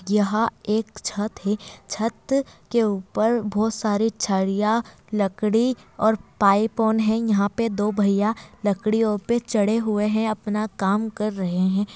यह एक छत है| छत के ऊपर बोहत सारी छड़ियाँ लकड़ी और ताइपोन है| यहाँ पे दो भैया लकड़ियों पे चढ़े हुए है| अपना काम कर रहे है।